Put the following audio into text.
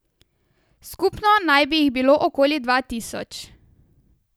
Skupno naj bi jih bilo okoli dva tisoč.